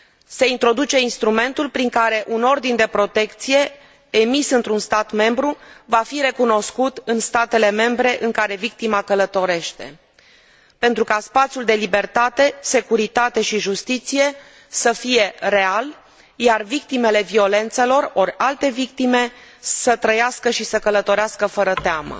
Se introduce instrumentul prin care un ordin de protecție emis într un stat membru va fi recunoscut în statele membre în care victima călătorește, pentru ca spațiul de libertate, securitate și justiție să fie real, iar victimele violențelor ori alte victime să trăiască și să călătorească fără teamă.